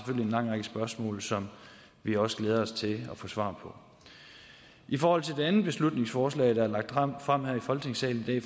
lang række spørgsmål som vi også glæder os til at få svar på i forhold til det andet beslutningsforslag der er lagt frem her i folketingssalen i